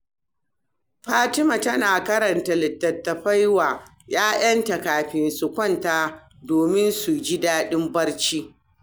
Rahama tana karanta littattafai wa 'ya'yanta kafin su kwanta domin su ji dadin barci.